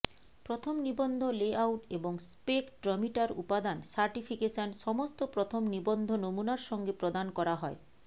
প্রথম নিবন্ধ লেআউট এবং স্পেকট্রমিটার উপাদান সার্টিফিকেশন সমস্ত প্রথম নিবন্ধ নমুনার সঙ্গে প্রদান করা হয়